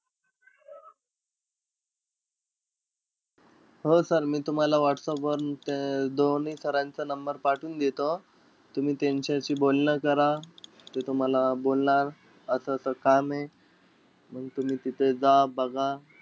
हो sir मी तुम्हाला whatsapp वर ते दोन्ही sir चं number पाठवून देतो. तुम्ही त्यांच्याशी बोलणं करा. ते तुम्हाला बोलणार असं-असं काम आहे. मंग तुम्ही तिथे जा बघा.